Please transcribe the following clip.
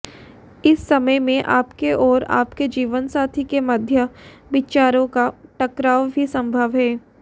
इस समय में आपके और आपके जीवनसाथी के मध्य विचारों का टकराव भी संभव है